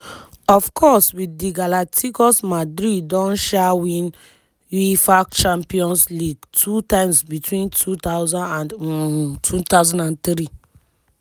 of course wit di galacticos madrid don um win uefa champions league two times between two thousand and um thousand and three.